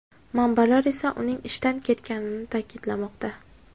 Manbalar esa uning ishdan ketganini ta’kidlamoqda.